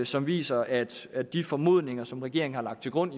som viser at at de formodninger som regeringen har lagt til grund